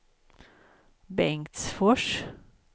Bengtsfors